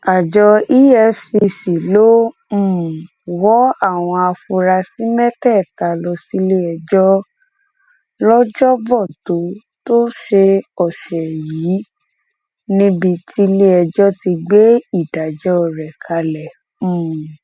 àjọ efcc ló um wọ àwọn afurasí mẹtẹẹta lọ síléẹjọ lọjọbọ tó tọsẹ ọsẹ yìí níbi tílẹẹjọ ti gbé ìdájọ rẹ kalẹ um